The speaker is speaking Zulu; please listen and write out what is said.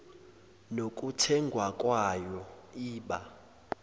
nokuthengwa kwayo iba